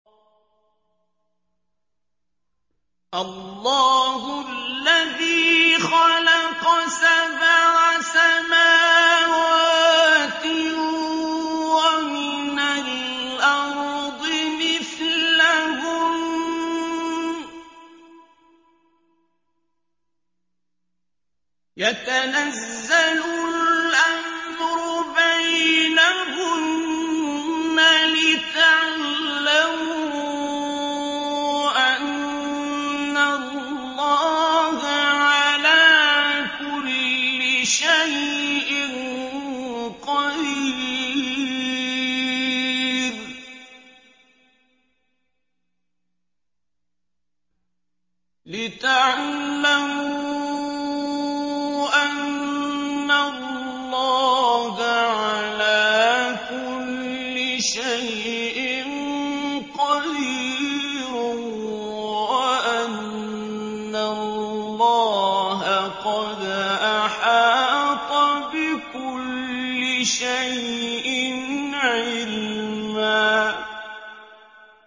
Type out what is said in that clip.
اللَّهُ الَّذِي خَلَقَ سَبْعَ سَمَاوَاتٍ وَمِنَ الْأَرْضِ مِثْلَهُنَّ يَتَنَزَّلُ الْأَمْرُ بَيْنَهُنَّ لِتَعْلَمُوا أَنَّ اللَّهَ عَلَىٰ كُلِّ شَيْءٍ قَدِيرٌ وَأَنَّ اللَّهَ قَدْ أَحَاطَ بِكُلِّ شَيْءٍ عِلْمًا